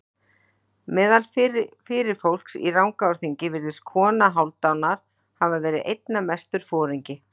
Meðal fyrirfólks í Rangárþingi virðist kona Hálfdanar hafa verið einna mestur foringi.